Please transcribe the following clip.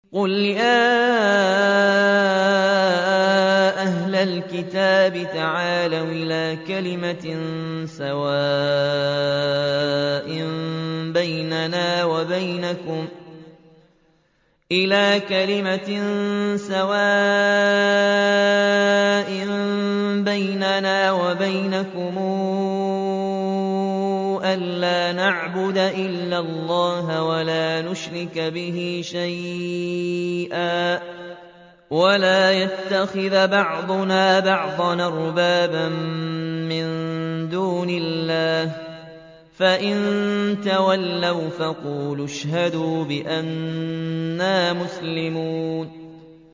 قُلْ يَا أَهْلَ الْكِتَابِ تَعَالَوْا إِلَىٰ كَلِمَةٍ سَوَاءٍ بَيْنَنَا وَبَيْنَكُمْ أَلَّا نَعْبُدَ إِلَّا اللَّهَ وَلَا نُشْرِكَ بِهِ شَيْئًا وَلَا يَتَّخِذَ بَعْضُنَا بَعْضًا أَرْبَابًا مِّن دُونِ اللَّهِ ۚ فَإِن تَوَلَّوْا فَقُولُوا اشْهَدُوا بِأَنَّا مُسْلِمُونَ